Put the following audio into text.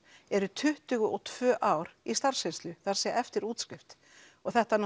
eru tuttugu og tvö ár í starfsreynslu það er að eftir útskrift og þetta